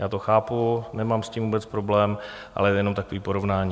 Já to chápu, nemám s tím vůbec problém, ale jenom takové porovnání.